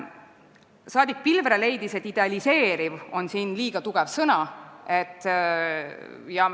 Saadik Pilvre leidis, et "idealiseeriv" on siin liiga tugev sõna.